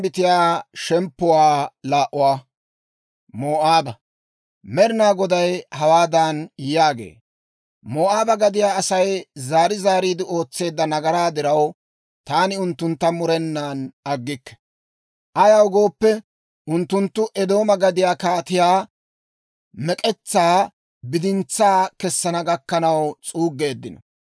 Med'inaa Goday hawaadan yaagee; «Moo'aaba gadiyaa Asay zaari zaariide ootseedda nagaraa diraw, taani unttuntta murenan aggikke. Ayaw gooppe, unttunttu Eedooma gadiyaa kaatiyaa mek'etsaa bidintsaa kesana gakkanaw s'uuggeeddino.